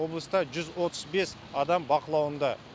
облыста жүз отыз бес адам бақылауында